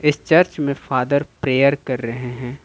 Church में father prayer कर रहे हैं।